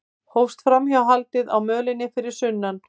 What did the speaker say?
Hófst framhjáhaldið á mölinni fyrir sunnan